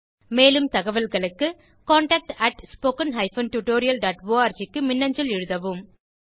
மேலும் தகவல்களுக்கு contactspoken tutorialorg க்கு மின்னஞ்சல் எழுதவும்